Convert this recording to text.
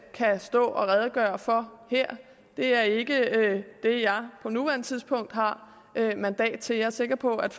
kan stå og redegøre for her det er ikke det jeg på nuværende tidspunkt har mandat til jeg er sikker på at